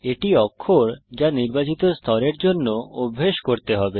এটি অক্ষর যা নির্বাচিত স্তরের জন্য অভ্যেস করতে হবে